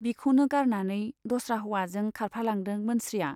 बिखौनो गारनानै दस्रा हौवाजों खारफालांदों मोनस्रिया।